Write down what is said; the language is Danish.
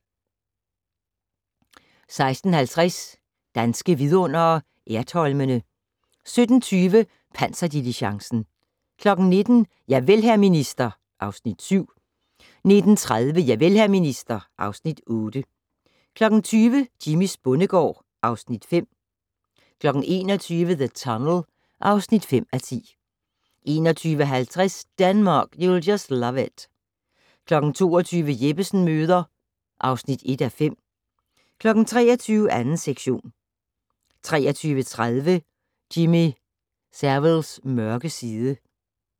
16:50: Danske Vidundere: Ertholmene 17:20: Panserdiligencen 19:00: Javel, hr. minister (Afs. 7) 19:30: Javel, hr. minister (Afs. 8) 20:00: Jimmys bondegård (Afs. 5) 21:00: The Tunnel (5:10) 21:50: Denmark, you'll just love it 22:00: Jeppesen møder (1:5) 23:00: 2. sektion 23:30: Jimmy Saviles mørke side